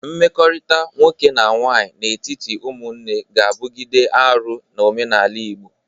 Mmekọrịta nwoke na nwaanyị n'etiti ụmụnne ga-abụgide arụ n'omenala Igbo.